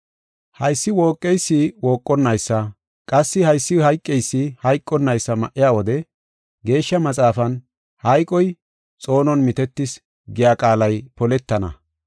Haysi wooqeysi wooqonnaysa, qassi haysi hayqeysi hayqonnaysa ma7iya wode, Geeshsha Maxaafan, “Hayqoy xoonon mitetis” giya qaalay poletana.